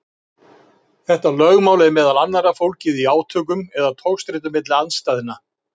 Þetta lögmál er meðal annars fólgið í átökum eða togstreitu milli andstæðna.